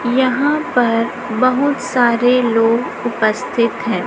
यहां पर बहुत सारे लोग उपस्थित हैं।